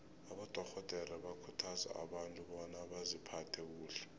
abadorhodere bakhuthaza abantu bona baziphathe kuhle